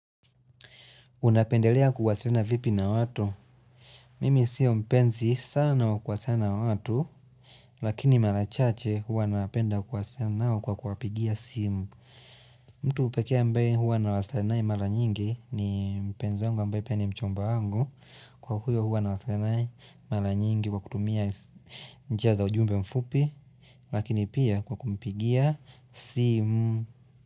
Unapendelea kuwasilena vipi na watu? Mimi siyo mpenzi sana wa kuwasilena wa watu Lakini mara chache huwa napenda kuwasilena wa kwa kuapigia simu mtu upekea mbae huwa na wasilenae mara nyingi ni mpenzi wangu mbae pene mchomba wangu Kwa huyo huwa na wasilenae mara nyingi kwa kutumia njia za ujumbe mfupi Lakini pia kwa kumpigia simu.